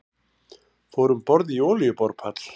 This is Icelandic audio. Fóru um borð í olíuborpall